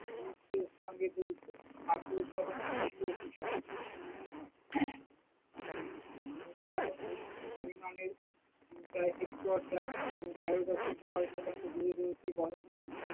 গুরুত্বের সঙ্গে রজিত, খাদ্য উৎপাদনে কৃষি ও কৃষক, ভারতের মোট ভূমির পরিমানের প্রায় হেক্টর যার আহ তেরো দশমিক ছয় শতাংশ জুড়ে রয়েছে বনভূমি।